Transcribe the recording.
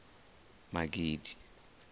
magidi